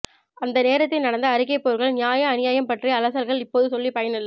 அந்த நேரத்தில் நடந்த அறிக்கை போர்கள் நியாய அநியாயம் பற்றிய அலசல்கள் இப்போது சொல்லி பயனில்லை